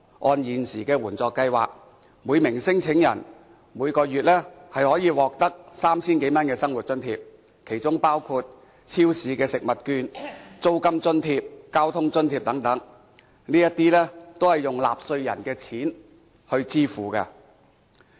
按現時援助計劃，每名聲請者每月可以獲得 3,000 多元的生活津貼，其中包括超市食物券、租金津貼、交通津貼等，這些都是用納稅人的錢來支付的。